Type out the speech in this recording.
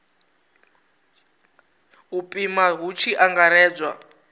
u pima hu tshi angaredzwa